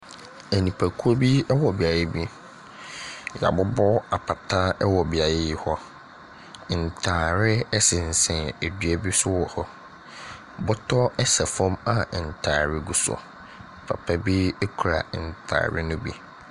Nipakuo bi wɔ beaeɛ bi. Wɔabobɔ apata wɔ beaeɛ yi hɔ. Ntadeɛ sensɛn dua bi so wɔ hɔ. Bɔtɔ sɛ fam a ntade gu so. Papa bi kura ntade no bi.